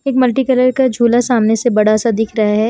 एक मल्टीकलर का झूला सामने से बड़ा सा दिख रहा है।